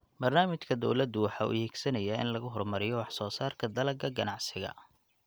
Barnaamijka dawladdu waxa uu higsanayaa in lagu horumariyo wax soo saarka dalagga ganacsiga.